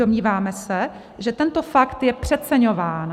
Domníváme se, že tento fakt je přeceňován.